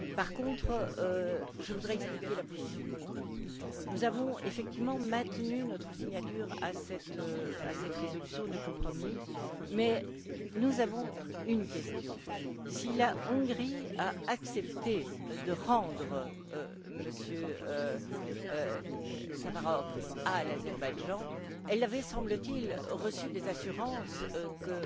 Par contre, je voudrais expliquer la position de mon groupe nous avons, effectivement, maintenu notre signature au bas de cette résolution de compromis mais nous avons une question si la Hongrie a accepté de rendre M. Safarov à l'Azerbaïdjan, elle avait, semble t il, reçu des assurances que